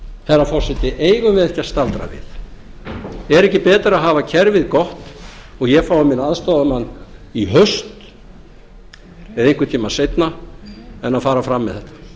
herra forseti eigum við ekki að staldra við er ekki betra að hafa kerfið gott og ég fái minn aðstoðarmann í haust eða einhvern tímann seinna en að fara fram með